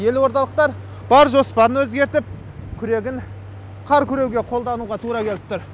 елордалықтар бар жоспарын өзгертіп күрегін қар күреуге қолдануға тура келіп тұр